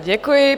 Děkuji.